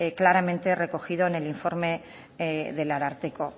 claramente recogido en el informe del ararteko